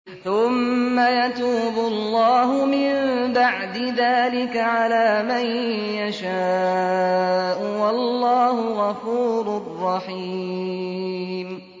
ثُمَّ يَتُوبُ اللَّهُ مِن بَعْدِ ذَٰلِكَ عَلَىٰ مَن يَشَاءُ ۗ وَاللَّهُ غَفُورٌ رَّحِيمٌ